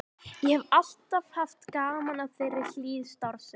Ég hef alltaf haft gaman af þeirri hlið starfsins.